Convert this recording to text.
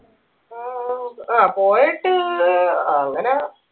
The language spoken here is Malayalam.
ആഹ് പോയിട്ട് അങ്ങനെ